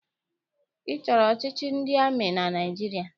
Ị chọrọ ọchịchị ndị amị na Naịjirịa?